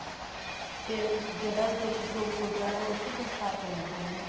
ਉਹ ਜਿਹੜਾ ਜੋਤੀ ਸਰੂਪ ਗੁਰੂਦਵਾਰਾ ਉਹ ਚ ਸੰਸਕਾਰ ਕਰਿਆ ਸੀ ਉਹਨਾ ਨੇ